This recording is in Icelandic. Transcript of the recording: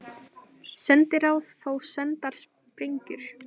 Sendiráð fá sendar sprengjur